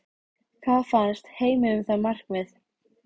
Hvað fannst Heimi um það markmið?